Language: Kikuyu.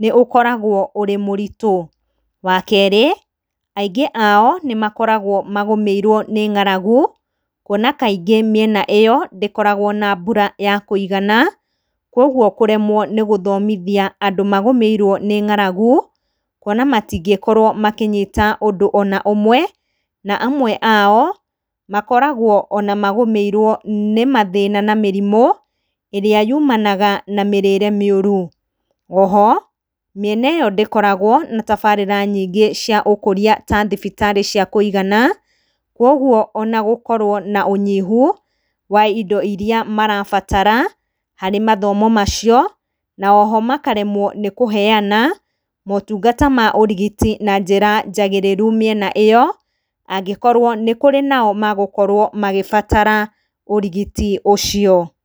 nĩ ũkoragwo ũrĩ mũritũ. Wa kerĩ, aingĩ ao nĩ makoragwo magũmĩirwo nĩ ng'aragu, kuona kaingĩ mĩena ĩyo ndĩkoragwo na mbura ya kũigana, koguo kũremwo nĩ gũthomithia andũ magũmĩirwo nĩ ng'aragu, kuona matingĩkorwo makĩnyita ũndũ ona ũmwe, kuona amwe ao nĩmakoragwo magũmĩiro nĩ mathĩna na mĩrimũ ĩrĩa yumanaga na mĩrĩre mĩũru. Oho mĩena ĩyo ndĩkoragwo na tabarĩra nyingĩ cia ũkũria ta thibitarĩ cia kuigana, koguo ona gũkorwo na ũnyihu wa indo irĩa marabatara harĩ mathomo macio na oho makaremwo nĩ kũheyana motungata ma ũrigiti na njĩra njagĩrĩru mĩena ĩyo angĩkorwo nĩ kũrĩ nao magũkorwo magĩbatara ũrigiti ũcio.